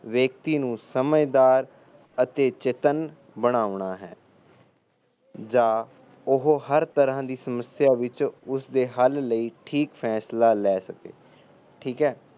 ਵਿਅਕਤੀ ਨੂੰ ਸਮਝਦਾਰ ਅਤੇ ਚੇਤੰਨ ਬਣਾਉਣਾ ਹੈ ਜਾ ਉਹ ਹਰ ਤਰਾ ਦੀ ਸਮੱਸਿਆ ਵਿੱਚ ਉਸ ਦੇ ਹੱਲ ਲਈ ਠੀਕ ਫਾਸਲਾ ਲੈ ਸਕੇ ਠੀਕ ਐ